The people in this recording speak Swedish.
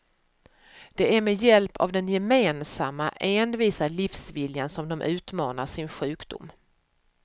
Det är med hjälp av den gemensamma, envisa livsviljan som de utmanar sin sjukdom.